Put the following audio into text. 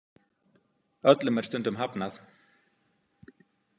Öllum er stundum hafnað.